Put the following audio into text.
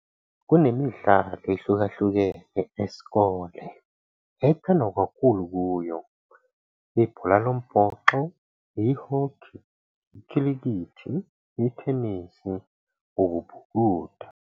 Kunemidlalo ehlukahlukene esikole, ethandwa kakhulu kuyo- ibhola lombhoxo, ihokhi, ikhilikithi, ithenisi, ukubhukuda.